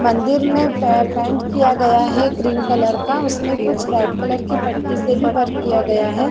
मंदिर में पेन्ट किया गया है क्रीम कलर का उसमे कुछ रेड कलर की पट्टी से भी वर्क किया गया है।